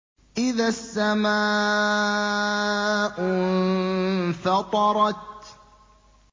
إِذَا السَّمَاءُ انفَطَرَتْ